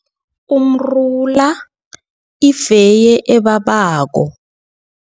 Umrula, ifeye ebabako.